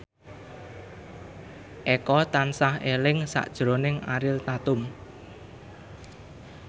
Eko tansah eling sakjroning Ariel Tatum